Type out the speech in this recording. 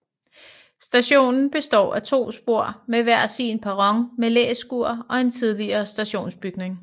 Stationen består af to spor med hver sin perron med læskure og en tidligere stationsbygning